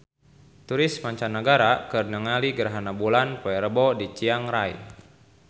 Turis mancanagara keur ningali gerhana bulan poe Rebo di Chiang Rai